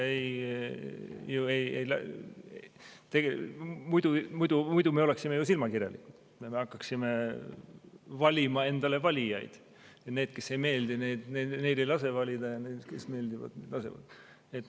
Muidu me oleksime ju silmakirjalikud, kui me hakkaksime endale valijaid valima – neil, kes ei meeldi, ei lase valida, ja neil, kes meeldivad, laseme.